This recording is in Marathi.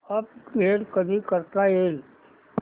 अपग्रेड कधी करता येईल